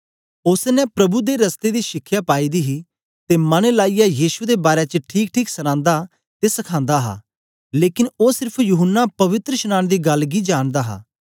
ओसने प्रभु दे रस्ते दी शिखया पाई दी ही ते मन लाईयै यीशु दे बारै च ठीकठीक सनांदा ते सखांदा हा लेकन ओ सेर्फ यूहन्ना पवित्रशनांन दी गल्ल गी जानदा हा